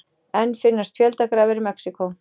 Enn finnast fjöldagrafir í Mexíkó